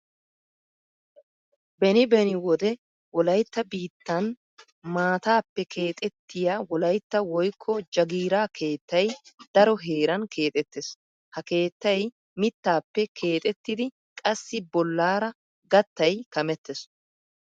Beni beni wode wolaytta biittan maataappe keexettiya wolytta woykko jagiira keettay daro heeran keexettees. Ha keettay mittaappe keexettidi qassi bollaara gattay kamettees.